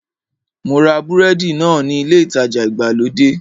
Mo ra búrẹ́dì náà ní ilé ìtajà ìgbàlódé